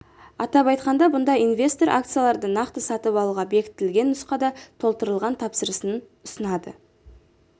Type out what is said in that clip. атап айтқанда бұнда инвестор акцияларды нақты сатып алуға бекітілген нұсқада толтырылған тапсырысын ұсынады